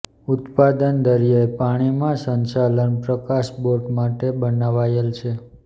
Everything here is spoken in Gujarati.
ઉત્પાદન દરિયાઈ પાણીમાં સંચાલન પ્રકાશ બોટ માટે બનાવાયેલ છે